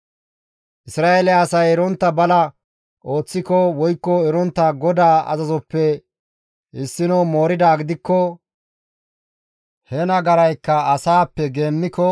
«Isra7eele asay erontta bala ooththiko woykko erontta GODAA azazoppe issino mooridaa gidikko he nagaraykka asaappe geemmiko,